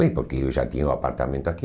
Bem, porque eu já tinha um apartamento aqui.